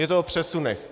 Je to o přesunech.